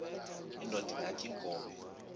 indod ingaty iinkobe